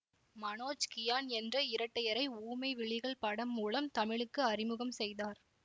மனோஜ்கியான் என்ற இரட்டையரை ஊமை விழிகள் படம் மூலம் தமிழுக்கு அறிமுகம் செய்தார்